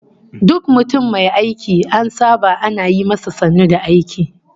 Duk mutum mai aiki an saba ana yi masa sannu da aiki